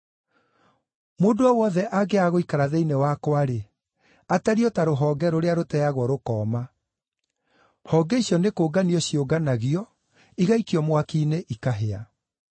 Mũndũ o wothe angĩaga gũikara thĩinĩ wakwa-rĩ, atariĩ o ta rũhonge rũrĩa rũteagwo rũkooma; honge icio nĩkũnganio ciũnganagio, igaikio mwaki-inĩ ikahĩa.